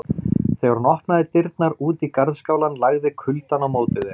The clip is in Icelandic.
Þegar hún opnaði dyrnar út í garðskálann lagði kuldann á móti þeim.